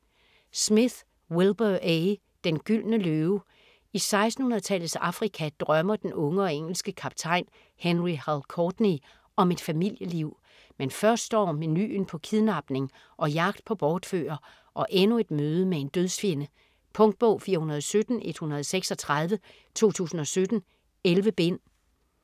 Smith, Wilbur A.: Den gyldne løve I 1600-tallets Afrika drømmer den unge engelske kaptajn Henry "Hal" Courtney om et familieliv. Men først står menuen på kidnapning og jagt på bortfører, og endnu et møde med en dødsfjende. Punktbog 417136 2017. 11 bind.